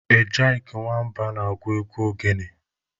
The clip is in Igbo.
Ejyk Nwamba na-agụ egwu ogene.